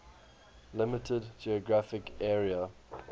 limited geographic area